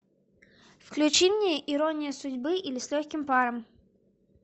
включи мне иронию судьбы или с легким паром